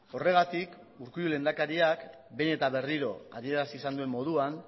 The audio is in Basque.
horregatik urkullu lehendakariak behin eta berriro adierazi izan duen moduan